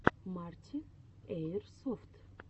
марти эирсофт